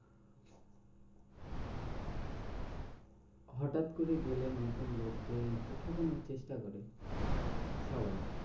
হটাৎ করে গেলে নতুন লোকদের একটু ঠকানোর চেষ্টা করে সবাই।